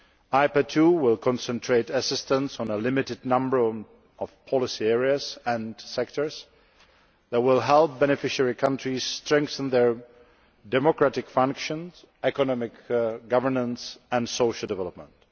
IPA II will concentrate assistance in a limited number of policy areas and sectors which will help beneficiary countries strengthen their democratic functions, economic governance and social development.